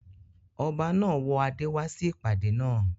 Ọba náà wọ adé wá sí ìpàdé naa